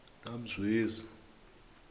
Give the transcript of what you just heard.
namzwezi